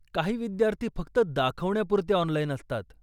काही विद्यार्थी फक्त दाखवण्यापुरते ऑनलाइन असतात.